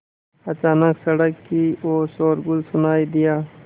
अचानक सड़क की ओर शोरगुल सुनाई दिया